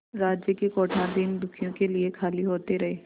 राज्य के कोठार दीनदुखियों के लिए खाली होते रहे